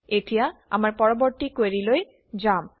এতিয়া আমাৰ পৰৱৰ্তী কুৱেৰিলৈ যাম